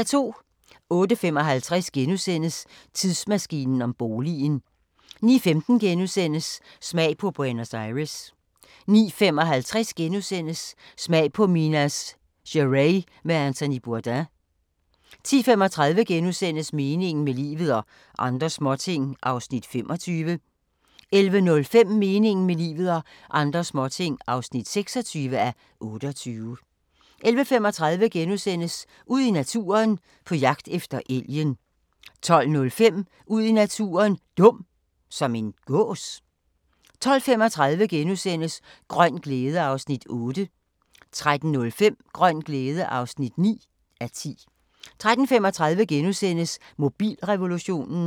08:55: Tidsmaskinen om boligen * 09:15: Smag på Buenos Aires * 09:55: Smag på Minas Gerais med Anthony Bourdain * 10:35: Meningen med livet – og andre småting (25:28)* 11:05: Meningen med livet – og andre småting (26:28) 11:35: Ud i naturen: På jagt efter elgen * 12:05: Ud i naturen: Dum – som en gås? 12:35: Grøn glæde (Afs. 8)* 13:05: Grøn glæde (9:10) 13:35: Mobilrevolutionen *